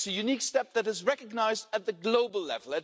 It's a unique step that is recognised at the global level.